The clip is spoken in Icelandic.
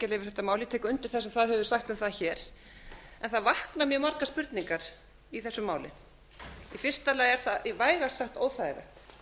mál ég tek undir það sem þar hefur verið sagt um það hér en mjög margar spurningar vakna í þessu máli í fyrsta lagi er það vægast sagt óþægilegt